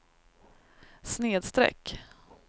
snedsträck